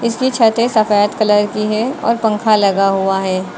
ये छतें सफेद कलर की हैं और पंखा लगा हुआ है।